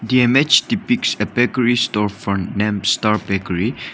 the image depicts a bakery store named star bakery.